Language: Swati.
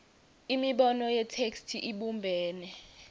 imibono yetheksthi ibumbene